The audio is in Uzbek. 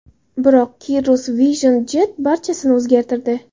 Biroq Cirrus Vision Jet barchasini o‘zgartirdi.